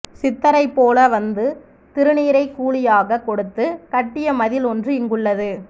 சித்தரைப் போல வந்து திருநீறை கூலியாகக் கொடுத்து கட்டிய மதில் ஒன்று இங்குள் ளது